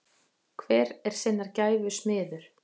Hver er sinnar gæfu smiður.